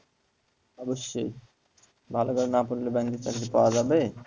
অবশ্যই ভালো করে না পড়লে bank এর চাকরি পাওয়া যাবে